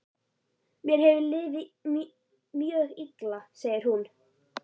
Mér hefur liðið mjög illa, segir hún.